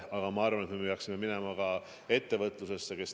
Aga ma arvan, et me peaksime minema ka ettevõtlusesse.